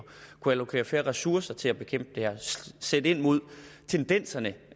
kunne vi allokere flere ressourcer til at bekæmpe det her og sætte ind mod tendenserne